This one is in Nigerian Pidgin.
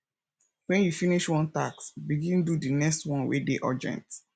wen you finish one task begin do di next one wey dey urgent